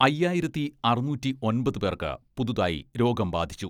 അയ്യായിരത്തി അറുനൂറ്റി ഒമ്പത് പേർക്ക് പുതുതായി രോഗം ബാധിച്ചു.